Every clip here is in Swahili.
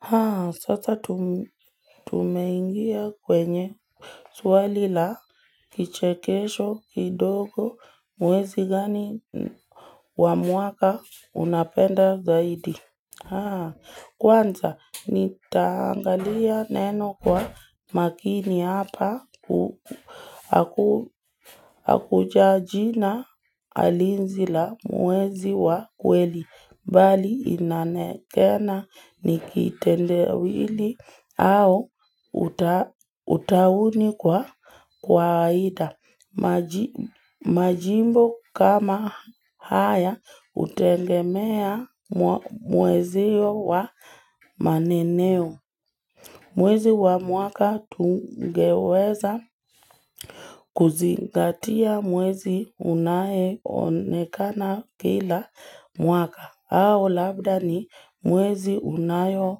Haa, sasa tum tumeingia kwenye swali la kichekesho kidogo mwezi gani wamwaka unapenda zaidi. Haa, kwanza nitaangalia neno kwa makini hapa ku akujajina alinzi la mwezi wa kweli. Mbali inanekena nikitende wili au uta utauni kwa kwa aida. Maji Majimbo kama haya utengemea mweziyo wa maneneo. Mwezi wa mwaka tungeweza kuzingatia mwezi unaeonekana kila mwaka. Ao labda ni mwezi unayo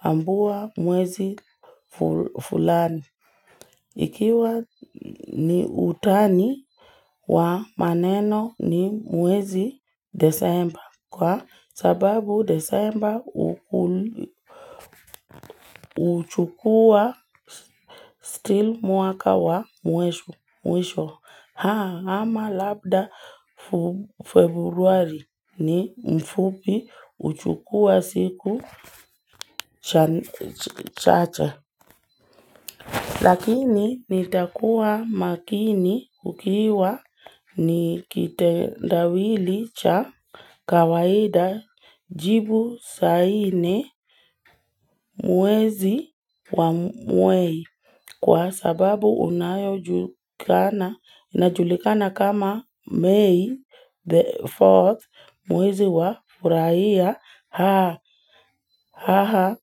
ambua mwezi fulani. Ikiwa ni utani wa maneno ni mwezi desemba. Kwa sababu desemba uchukua still mwaka wa mwisho. Haa ama labda februari ni mfupi uchukua siku Chan ch chache Lakini nitakuwa makini kukiwa ni kitendawili cha kawaida jibu saini muwezi wa mwei.o Kwa sababu unayo julkana una julikana kama May the 4th muwezi wa furaia haa haha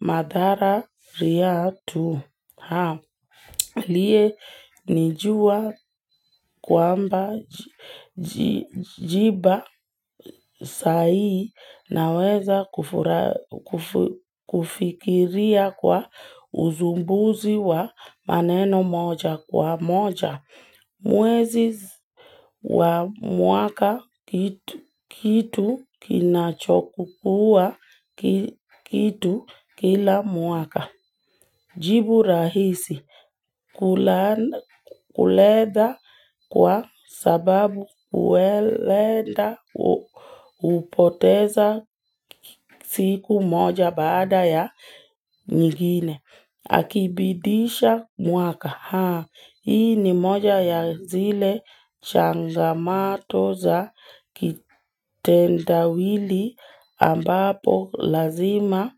madhara riyatu haa.alie nijua kwamba ji jiba sai naweza kufura kufu kufikiria kwa uzumbuzi wa maneno moja kwa moja. Mweziz wa muaka kit kitu kinachokuwa ki kitu kila muaka. Jibu rahisi kulan kuleda kwa sababu uwelenda upoteza siku moja baada ya nyingine. Akibidisha mwaka haa. Hii ni moja ya zile changamato za kitendawili ambapo lazima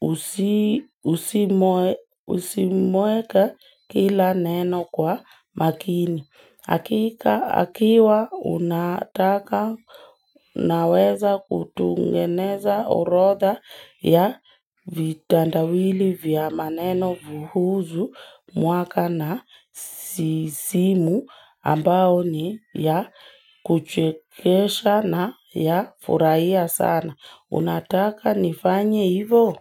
us usimweka kila neno kwa makini. Akika akiwa unataka naweza kutungeneza orotha ya vitandawili vya maneno vuhuzu muaka na sisimu ambao ni ya kuchekesha na ya furaia sana. Unataka nifanye ivo?